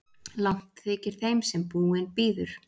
Langt þykir þeim sem búinn bíður.